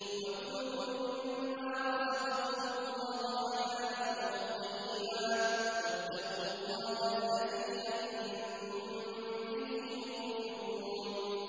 وَكُلُوا مِمَّا رَزَقَكُمُ اللَّهُ حَلَالًا طَيِّبًا ۚ وَاتَّقُوا اللَّهَ الَّذِي أَنتُم بِهِ مُؤْمِنُونَ